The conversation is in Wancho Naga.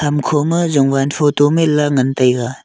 hamkho ma jowan photo man lah ngan taiga.